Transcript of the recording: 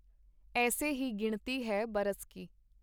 ਐੱਸੇ ਹੀ ਗਿਣਤੀ ਹੈ ਬਰਸ ਕੀ .